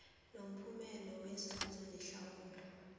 nomphumela wenzuzo nehlawulo